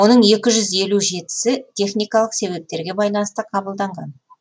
оның екі жүз елу жетісі техникалық себептерге байланысты қабылданған